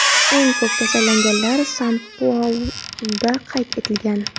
Eng ko‘p kasallanganlar San-Pauluda qayd etilgan.